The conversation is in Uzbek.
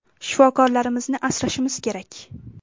Shifokorlarimizni asrashimiz kerak.